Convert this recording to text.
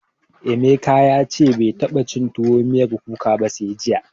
Emeka ya ce bai taɓa cin tuwo miyar kuka ba sai jiya.